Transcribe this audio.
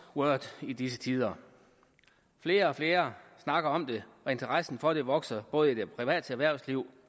word i disse tider flere og flere snakker om det og interessen for det vokser både i det private erhvervsliv